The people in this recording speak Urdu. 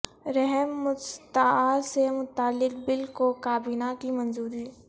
رحم مستعار سے متعلق بل کو کابینہ کی منظوری